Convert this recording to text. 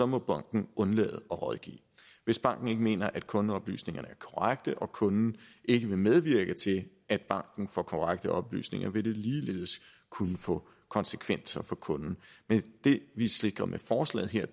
må banken undlade at rådgive hvis banken ikke mener at kundeoplysningerne er korrekte og kunden ikke vil medvirke til at banken får korrekte oplysninger vil det ligeledes kunne få konsekvenser for kunden men det vi sikrer med forslaget her